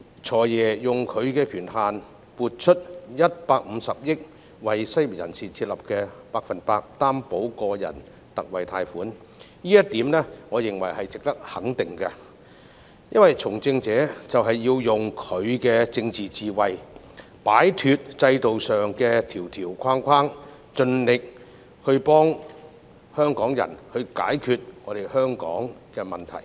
"財爺"運用權限撥出150億元，為失業人士設立百分百擔保個人特惠貸款計劃，我認為這點值得肯定，因為從政者就是要用他的政治智慧，擺脫制度上的條條框框，盡力幫助香港解決問題。